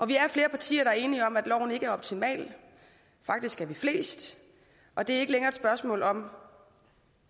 vi er flere partier der er enige om at loven ikke er optimal faktisk er vi flest og det er ikke længere et spørgsmål om